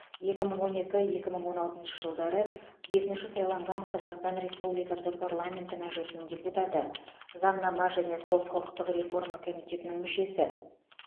екі мың он екі екі мың он алтыншы жылдары бесінші сайланған қазақстан республикасы парламенті мәжілісінің депутаты заңнама және сот құқықтық реформа комитетінің мүшесі